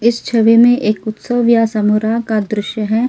इस छवि में एक उत्सव या समुराह का दृश्य है।